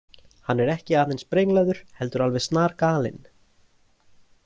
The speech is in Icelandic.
Hann er ekki aðeins brenglaður heldur alveg snargalinn.